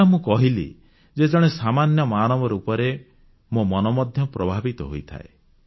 ଯାହା ମୁଁ କହିଲି ଯେ ଜଣେ ସାମାନ୍ୟ ମାନବ ରୂପରେ ମୋ ମନ ମଧ୍ୟ ପ୍ରଭାବିତ ହୋଇଥାଏ